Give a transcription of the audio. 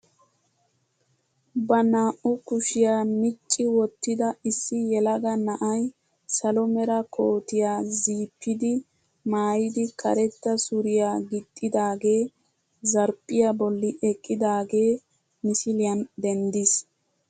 Ba naa"u kushiyaa micci wottida issi yelaga na'ay salo mera kootiyaa ziipidi maayidi karetta suriyaa gixxidagee zarphphiyaa bolli eqqidagee misiliyaan denddiis.